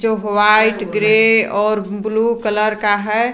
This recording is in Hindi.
व्हाइट ग्रे और ब्लू कलर का है।